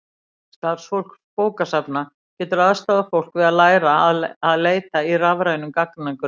starfsfólk bókasafna getur aðstoðað fólk við að læra að leita í rafrænum gagnagrunnum